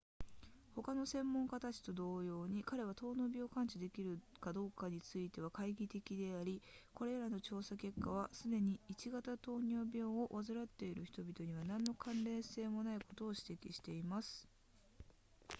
他の専門家たちと同様に彼は糖尿病を完治できるかどうかについては懐疑的でありこれらの調査結果はすでに i 型糖尿病を患っている人々には何の関連性もないことを指摘しています